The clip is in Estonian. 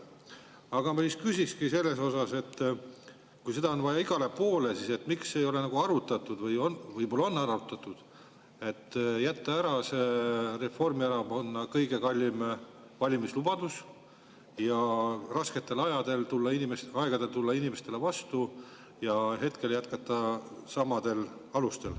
Aga ma küsingi selle kohta, et kui seda on vaja igale poole, siis miks ei ole arutatud – võib-olla on arutatud –, et võiks jätta ära Reformierakonna kõige kallima valimislubaduse, rasketel aegadel tulla inimestele vastu ja jätkata praegu samadel alustel.